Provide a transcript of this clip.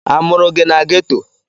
A mụrụ gị na Ghetto?